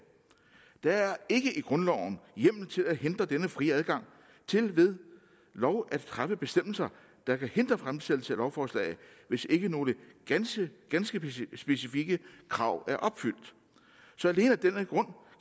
der er ikke i grundloven hjemmel til at hindre denne frie adgang til ved lov at fremme bestemmelser der kan hindre fremsættelse af lovforslag hvis ikke nogle ganske ganske specifikke krav er opfyldt så alene af